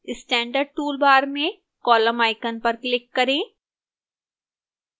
standard toolbar में column icon पर click करें